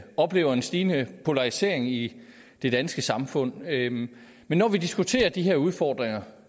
oplever en stigende polarisering i det danske samfund men men når vi diskuterer de her udfordringer